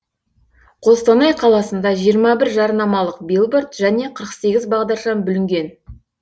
қостанай қаласында жиырма бір жарнамалық билборд және қырық сегіз бағдаршам бүлінген